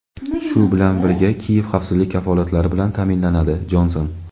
shu bilan birga Kiyev xavfsizlik kafolatlari bilan taʼminlanadi – Jonson.